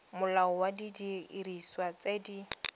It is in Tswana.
molao wa didiriswa tse di